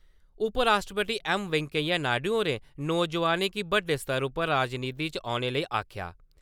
उप-राश्ट्रपति M. Venkaiah Naidu होरें नौजुआनें गी बड्डे स्तर उप्पर राजनीति च औने लेई आखेआ ।